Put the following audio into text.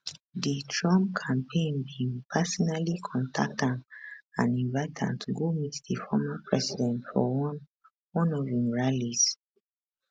di trump campaign bin personally contact am and invite am to go meet di former president for one one of im rallies